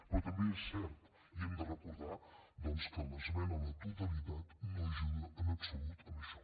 però també és cert i ho hem de recordar doncs que l’esmena a la totalitat no ajuda en absolut a això